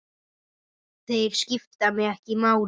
Þeir skipta mig ekki máli.